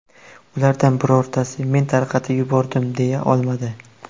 Ulardan birortasi ‘men tarqatib yubordim’ deya olmadi.